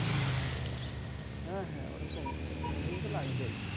হ্যাঁ হ্যাঁ ওইরকম দুই-তিনদিন তো লাগবেই।